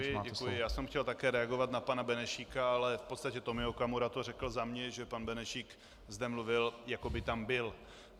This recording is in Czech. Děkuji, děkuji, já jsem chtěl také reagovat na pana Benešíka, ale v podstatě Tomio Okamura to řekl za mě, že pan Benešík zde mluvil, jako by tam byl.